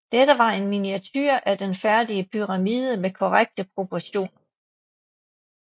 Dette var en miniature af den færdige pyramide med korrekte proportioner